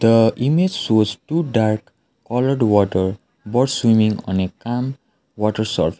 the image shows two dark water both swimming on a calm water sur --